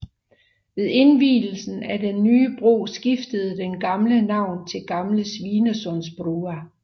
Ved indvielsen af den nye bro skiftede den gamle navn til Gamle Svinesundsbrua